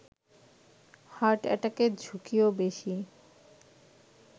heart এটাকের ঝুঁকিও বেশি